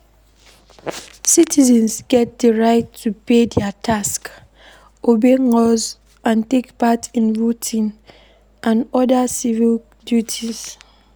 Citizens get di right to pay their tax, obey laws and take part in voting and oda civic duties